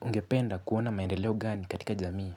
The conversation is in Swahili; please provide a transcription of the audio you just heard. Ungependa kuona maendeleo gani katika jamii?